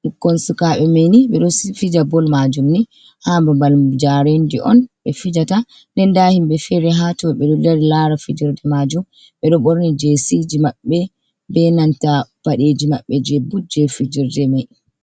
ɓikkon sukaɓe mai ni ɓeɗo fija bol majum ni ha babal jarendi on ɓe fijata, den nda himɓe fere ha to ɓe ɗo dari lara fijorde majum, ɓe ɗo borni je siji maɓɓe be nanta paɗeji maɓɓe je je fijirde mai.